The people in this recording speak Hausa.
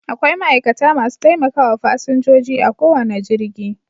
Akwai ma'aikata masu taimakawa fasinjoji a kowane jirgi